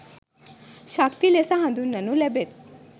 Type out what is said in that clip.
ශක්ති ලෙස හදුන්වනු ලැබෙත්.